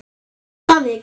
Ef það vill.